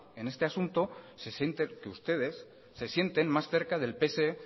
en este asunto que ustedes se sienten más cerca del pse